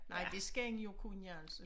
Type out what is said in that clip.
Nej det skal en jo kunne altså